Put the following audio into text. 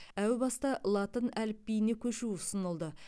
әу баста латын әліп биіне көшу ұсынылды